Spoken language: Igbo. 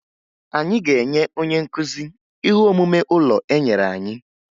Anyị ga-enye onye nkụzi ihe omume ụlọ enyere anyị